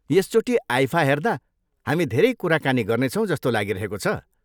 यसचोटि IIFA हेर्दा हामी धेरै कुराकानी गर्नेछौँ जस्तो लागिरहेको छ।